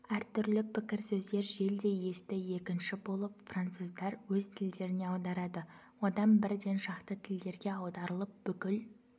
әртүрлі пікір-сөздер желдей есті екінші болып француздар өз тілдеріне аударады одан бірден шақты тілге аударылып бүкіл